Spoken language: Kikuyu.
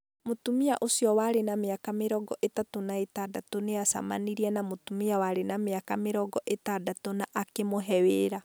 Mũtumia ũcio warĩ na mĩaka mĩrongo ĩtatũ na ĩtandatũ nĩ acemanirie na mũtumia warĩ na mĩaka mĩrongo ĩtandatũ na akimũve wira.